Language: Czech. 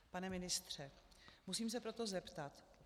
Pane ministře, musím se proto zeptat.